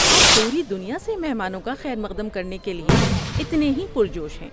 ہم پوری دنیا سے مہمانوں کا خیرمقدم کرنے کے لیے اتنے ہی پرجوش ہیں۔